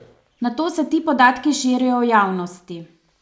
Nato se ti podatki širijo v javnosti.